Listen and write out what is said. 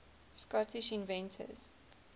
scottish inventors